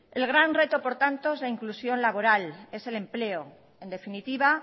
el gran reto por tanto es la inclusión laboral es el empleo en definitiva